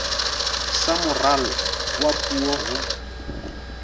sa moralo wa puo ho